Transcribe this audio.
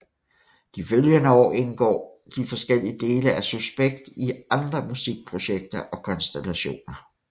De følgende år indgår de forskellige dele af Suspekt i andre musikprojekter og konstellationer